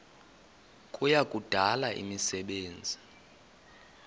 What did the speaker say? kuya kudala imisebenzi